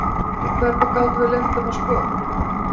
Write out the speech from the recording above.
Og hvernig gátum við leyft þeim að skora?